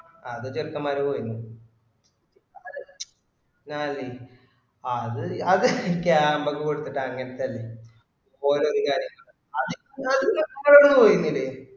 അത് ചെക്കന്മാര് പോയിനും അത് camp ഒക്കെ കൊടുത്തിട്ട് അങ്ങനത്തെ അല്ലെ ഓല് ഒരു category അമ്മളവിടെ പോയിരുന്നില്ലേ